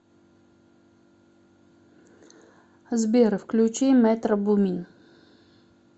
сбер включи метро бумин